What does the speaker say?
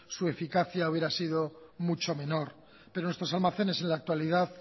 su eficacia había sido mucho menor pero nuestros almacenes en la actualidad